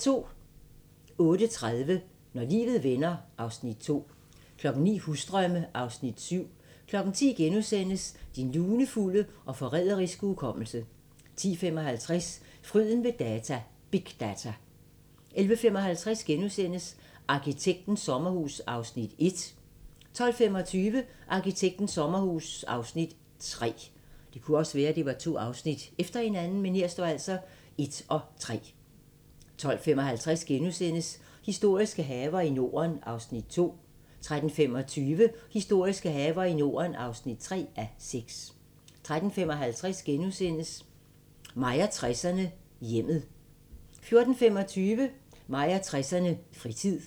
08:30: Når livet vender (Afs. 2) 09:00: Husdrømme (Afs. 7) 10:00: Din lunefulde og forræderiske hukommelse * 10:55: Fryden ved data – big data! 11:55: Arkitektens sommerhus (Afs. 1)* 12:25: Arkitektens sommerhus (Afs. 3) 12:55: Historiske haver i Norden (2:6)* 13:25: Historiske haver i Norden (3:6) 13:55: Mig og 60'erne: Hjemmet * 14:25: Mig og 60'erne: Fritid